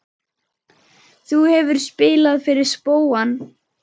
Þú hefur spilað fyrir spóann?